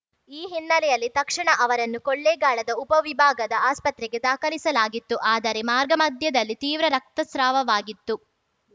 ಈ ಹಿನ್ನೆಲೆಯಲ್ಲಿ ತಕ್ಷಣ ಅವರನ್ನು ಕೊಳ್ಳೇಗಾಲದ ಉಪವಿಭಾಗದ ಆಸ್ಪತ್ರೆಗೆ ದಾಖಲಿಸಲಾಗಿತ್ತು ಆದರೆ ಮಾರ್ಗಮಧ್ಯದಲ್ಲಿ ತೀವ್ರ ರಕ್ತಸ್ರಾವವಾಗಿತ್ತು